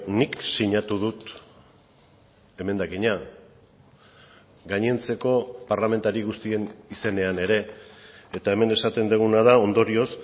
nik sinatu dut emendakina gainontzeko parlamentari guztien izenean ere eta hemen esaten duguna da ondorioz